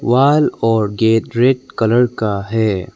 Wall और gate red colour का है।